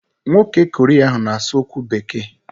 Nwoke Korea ahụ na-asụ okwu Bekee.